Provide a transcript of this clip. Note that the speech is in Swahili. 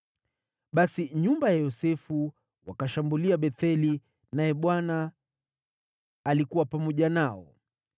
Basi nyumba ya Yosefu wakashambulia Betheli, naye Bwana alikuwa pamoja nao.